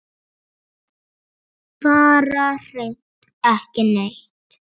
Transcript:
Bara hreint ekki neitt.